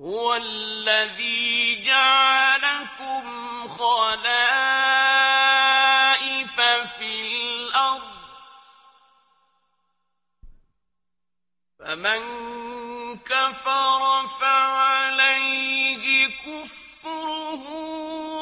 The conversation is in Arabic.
هُوَ الَّذِي جَعَلَكُمْ خَلَائِفَ فِي الْأَرْضِ ۚ فَمَن كَفَرَ فَعَلَيْهِ كُفْرُهُ ۖ